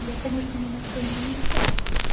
я конечно не на что не намекаю